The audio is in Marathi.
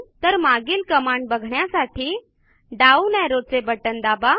तर मागील कमांड बघण्यासाठी डाउन arrowचे बटण दाबा